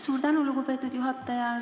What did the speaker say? Suur tänu, lugupeetud juhataja!